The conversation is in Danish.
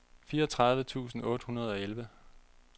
fireogtredive tusind otte hundrede og elleve